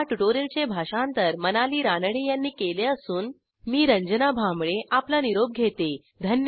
ह्या ट्युटोरियलचे भाषांतर मनाली रानडे यांनी केले असून मी रंजना भांबळे आपला निरोप घेते160